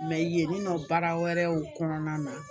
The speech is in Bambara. yen nɔ baara wɛrɛw kɔnɔna na